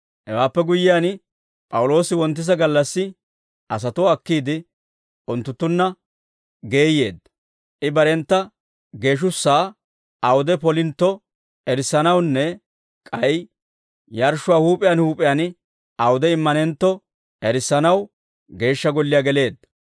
Hewaappe guyyiyaan, P'awuloosi wonttisa gallassi asatuwaa akkiide, unttunttunna geeyyeedda; I barentta geeshshussaa awude polintto erissanawunne k'ay yarshshuwaa huup'iyaan huup'iyaan awude immanentto erissanaw Geeshsha Golliyaa geleedda.